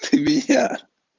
ты меня